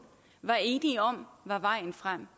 var enige om var vejen frem